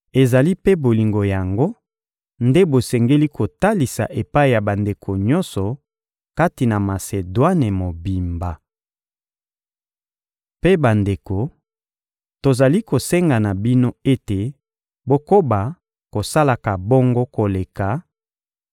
Ezali mpe bolingo yango nde bosengeli kotalisa epai ya bandeko nyonso kati na Masedwane mobimba. Mpe bandeko, tozali kosenga na bino ete bokoba kosalaka bongo koleka,